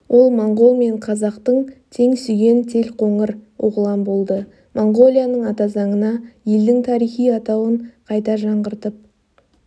ол моңғол мен қазақты тең сүйген телқоңыр оғлан болды моңғолияның атазаңына елдің тарихи атауын қайта жаңғыртып